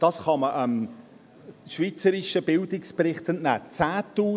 dies kann man dem Schweizer Bildungsbericht entnehmen: